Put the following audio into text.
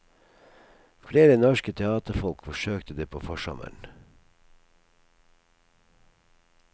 Flere norske teaterfolk forsøkte det på forsommeren.